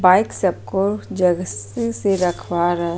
Bike सबको जगह से से रखवा रहे है।